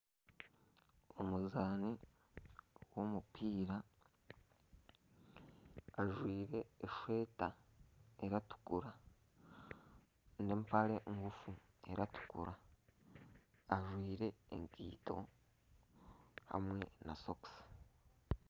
Omuzaani w’omupiira ajwaire esweeta eratukura n'empare nguufu eratukura ajwaire ekaito hamwe na sokisi.